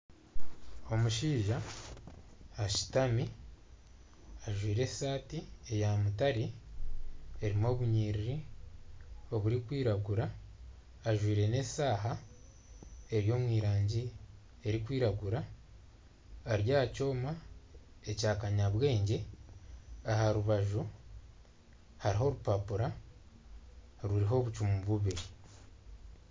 Omushaija ashutami ajwire eshaati eya mutare erimu obunyiriri oburikwiragura ajwire n'eshaaha eri omurangi erikwiragura ari aha kyoma, ekyakanyabwengye aha rubaju hariho obupapura burimu obucumu bubiri